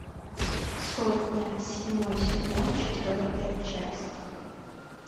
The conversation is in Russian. сотня седьмой сезон четвертая часть